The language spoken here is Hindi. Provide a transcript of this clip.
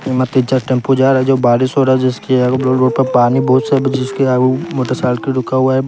टेंपो जा रहा है जो बारिश हो रहा है जिसकी पानी बहुत सब जिसके आगे मोटर साइकिल रुका हुआ है।